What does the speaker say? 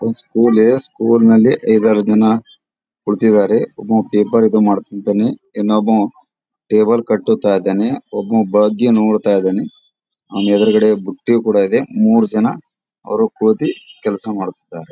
ಒಂದು school school ನಲ್ಲಿ ಐದಾರು ಜನ ಕೂಳತಿದಾರೆ ಒಬ್ಬವ ಪೇಪರ್ ಇದು ಮಾಡುತಿದ್ದಾನೆ ಇನ್ನೊಬ್ಬ ಟೇಬಲ್ ಕಟ್ಟುತ್ತಾ ಇದ್ದಾನೆ ಒಬ್ಬ ಬಗ್ಗಿ ನೋಡ್ತಾ ಇದ್ದಾನೆ ಅವ್ನ ಎದುರುಗಡೆ ಬುಟ್ಟಿ ಕೂಡ ಇದೆ ಮೂರ್ ಜನ ಅವ್ರು ಕೂತಿ ಕೆಲಸ ಮಾಡುತಿದ್ದಾರೆ .